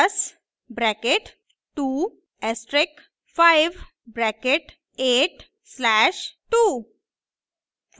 10 + bracket 2 asterisk 5 bracket 8 slash 2